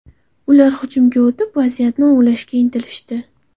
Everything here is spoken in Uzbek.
Ular hujumga o‘tib, vaziyatni o‘nglashga intilishdi.